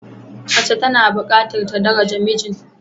Mace tana bukatar ta daraja mijin.